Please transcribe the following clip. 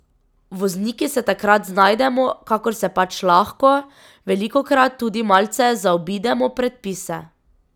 Vozniki se takrat znajdemo, kakor se pač lahko, velikokrat tudi malce zaobidemo predpise.